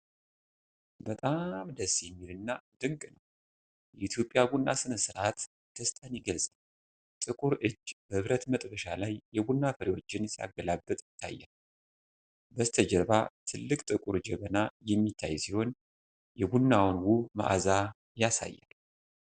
በጣም ደስ የሚል እና ድንቅ ነው! የኢትዮጵያ ቡና ሥነ-ሥርዓት ደስታን ይገልጻል። ጥቁር እጅ በብረት መጥበሻ ላይ የቡና ፍሬዎችን ሲያገላብጥ ይታያል። በስተጀርባ ትልቅ ጥቁር ጀበና የሚታይ ሲሆን የቡናውን ውብ መዓዛ ያሳያል።